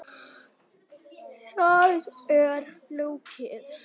Það er ekki flókið.